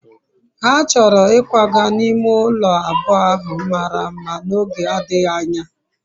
ha choro ikwaga n'ime ulo abuo ahu mara mma n'oge adighi anya